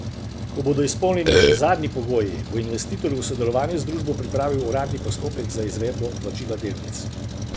Ko bodo izpolnjeni še zadnji pogoji, bo investitor v sodelovanju z družbo pripravil uradni postopek za izvedbo vplačila delnic.